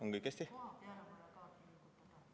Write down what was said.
On kõik hästi?